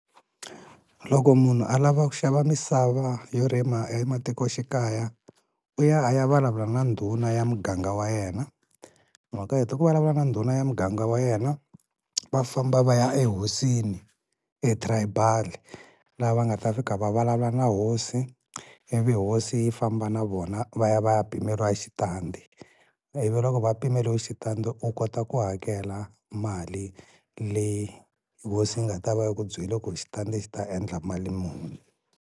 Loko munhu a lava ku xava misava yo rima ematikoxikaya u ya a ya vulavula na ndhuna ya muganga wa yena, loko a hete ku vulavula na ndhuna ya muganga wa yena va famba va ya ehosini etribal-i, laha va nga ta fika va vulavula na hosi ivi hosi yi famba na vona va ya va ya pimeriwa xitandi, ivi loko va pimeliwe xitandi u kota ku hakela mali leyi hosi yi nga ta va yi ku byele ku xitandi xi ta endla mali muni.